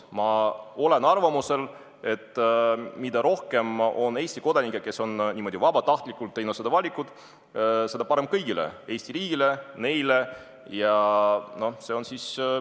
Ma olen arvamusel, et mida rohkem on Eesti kodanikke, kes on niimoodi vabatahtlikult teinud selle valiku, seda parem Eesti riigile ja neile endile.